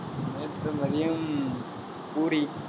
நேற்று மதியம் பூரி